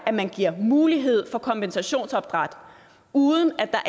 at man giver mulighed for kompensationsopdræt uden at der